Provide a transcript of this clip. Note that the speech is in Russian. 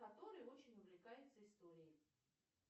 который очень увлекается историей